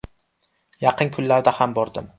Yaqin kunlarda ham bordim.